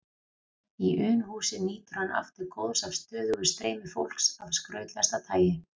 Í Unuhúsi nýtur hann aftur góðs af stöðugu streymi fólks af skrautlegasta tagi.